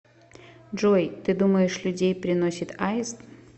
джой ты думаешь людей приносит аист